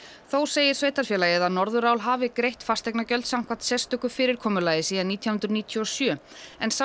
þó segir sveitarfélagið að Norðurál hafi greitt fasteignagjöld samkvæmt sérstöku fyrirkomulagi síðan nítján hundruð níutíu og sjö en sá